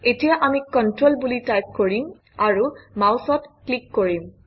এতিয়া আমি কন্ট্ৰল বুলি টাইপ কৰিম আৰু মাউচত ক্লিক কৰিম